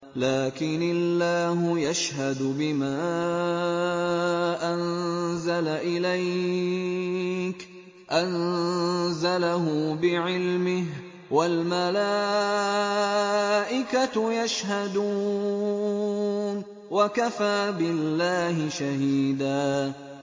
لَّٰكِنِ اللَّهُ يَشْهَدُ بِمَا أَنزَلَ إِلَيْكَ ۖ أَنزَلَهُ بِعِلْمِهِ ۖ وَالْمَلَائِكَةُ يَشْهَدُونَ ۚ وَكَفَىٰ بِاللَّهِ شَهِيدًا